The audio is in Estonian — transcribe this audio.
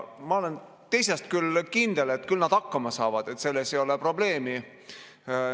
Ma olen teisest küljest kindel, et küll nad hakkama saavad, selles ei ole probleemi.